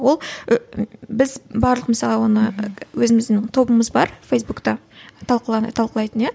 ол ы біз барлық мысалы оны өзіміздің тобымыз бар фейсбукта талқылайтын иә